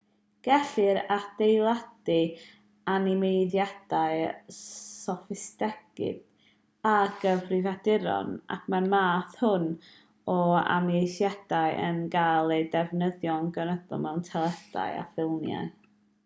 gellir adeiladu animeiddiadau soffistigedig ar gyfrifiaduron ac mae'r math hwn o animeiddiad yn cael ei ddefnyddio'n gynyddol mewn teledu a ffilmiau